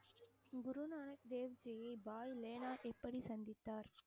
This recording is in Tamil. குருநானக் தேவ்ஜியை பாய் லெனா எப்படி சந்தித்தார்